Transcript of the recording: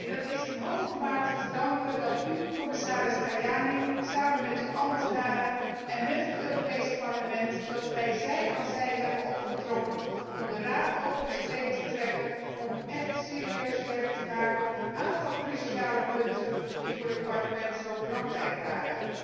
Dat is in hoge mate te danken aan het feit dat u, commissaris Tajani, samen met uw ambtenaren en wij als Europees Parlement zij en zij hebben opgetrokken om de Raad over de streep te trekken om echt serieus werk te maken van een aantal cruciale punten die voor het Parlement zo belangrijk waren.